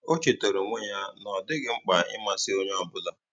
Ó chétárá ónwé yá nà ọ́ dị́ghị́ mkpà ị̀másị́ ónyé ọ́ bụ́là.